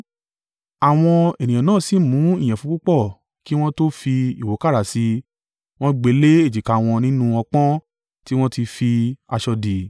Àwọn ènìyàn náà sì mú ìyẹ̀fun púpọ̀ kí wọn tó fi ìwúkàrà sí i, wọ́n gbe le èjìká wọn nínú ọpọ́n tí wọ́n ti fi aṣọ dì.